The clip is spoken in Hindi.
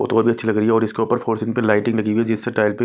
वो तो बहोत अच्छी लग रही है इसके ऊपर फोर्सिंग पे लाइटिंग लगी हुई है जिससे टायर पे--